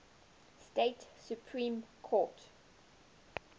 state supreme court